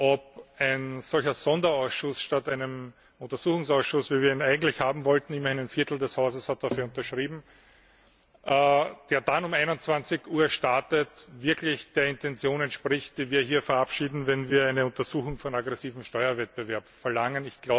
ob ein solcher Sonderausschuss statt eines Untersuchungsausschusses, wie wir ihn eigentlich haben wollten immerhin ein Viertel des Hauses hat dafür unterschrieben der dann um 21 Uhr startet, wirklich der Intention entspricht, die wir hier verabschieden, wenn wir eine Untersuchung von aggressivem Steuerwettbewerb verlangen.